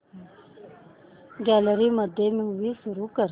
gallery मध्ये movie सुरू कर